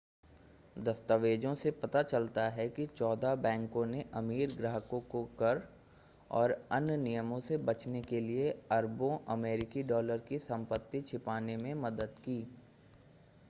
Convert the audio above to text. दस्तावेजों से पता चलता है कि चौदह बैंकों ने अमीर ग्राहकों को कर और अन्य नियमों से बचने के लिए अरबों अमेरिकी डॉलर की संपत्ति छिपाने में मदद की